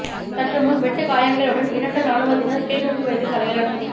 சற்றுமுன் வெட்டுக் காயங்களுடன் இரண்டு இராணுவத்தினர் கிளிநொச்சி வைத்தியசாலையில் அனுமதி